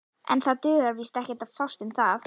En það dugar víst ekkert að fást um það.